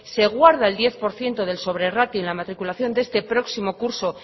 se guarda el diez por ciento de sobrerratio en la matriculación de este próximo curso